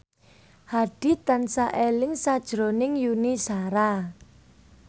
Hadi tansah eling sakjroning Yuni Shara